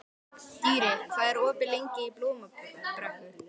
Dýri, hvað er opið lengi í Blómabrekku?